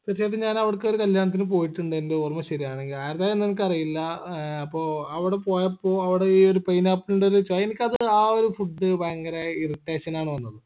എത്തിയേ പിന്നെ ഞാൻ അവടക്ക് ഒരു കല്യാണത്തിന് പോയിട്ടുണ്ട് എൻറെ ഓർമ്മ ശെരിയാണെങ്കിൽ ആരത എന്നങ്ങക്ക് അറിയില്ല ഏർ അപ്പോ അവിട പോയപ്പോ അവിടെ ഈ ഒരു pineapple ന്റൊരു ചൊയ എനിക്ക് അത് ആ ഒരു food ഭയങ്കര irritation ആണ് വന്നത്